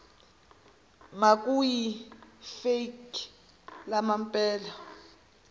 makuyi fake lempela